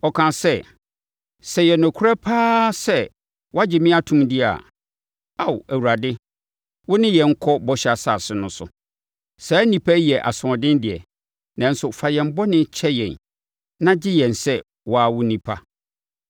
Ɔkaa sɛ, “Sɛ ɛyɛ nokorɛ pa ara sɛ woagye me atom deɛ a, Ao Awurade, wo ne yɛnkɔ bɔhyɛ asase no so. Saa nnipa yi yɛ asoɔden deɛ, nanso fa yɛn bɔne kyɛ yɛn na gye yɛn sɛ wo ara wo nnipa.”